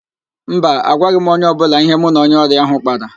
Mba, agwaghị m onye ọbụla ihe mụ na onye ọrịa ahụ kpara